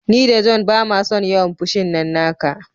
Ni da John bamason yawan fushin nan naka.